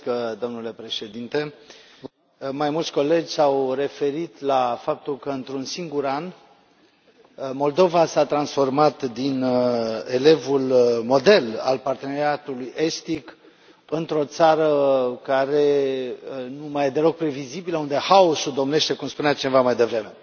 Domnule președinte, mai mulți colegi s au referit la faptul că într un singur an Moldova s a transformat din elevul model al Parteneriatului estic într o țară care nu mai e deloc previzibilă, unde haosul domnește cum spunea cineva mai devreme.